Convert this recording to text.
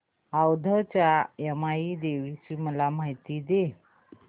औंधच्या यमाई देवीची मला माहिती दे